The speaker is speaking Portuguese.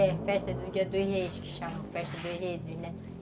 É, festa do dia dos Reis, que chamam de festa dos Reis, né?